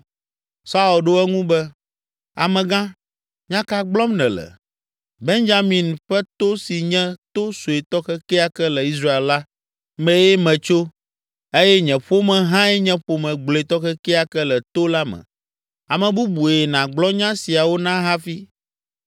Saul ɖo eŋu be, “Amegã, nya ka gblɔm nèle? Benyamin ƒe to si nye to suetɔ kekeake le Israel la mee metso eye nye ƒome hãe nye ƒome gblɔetɔ kekeake le to la me! Ame bubue nàgblɔ nya siawo na hafi!”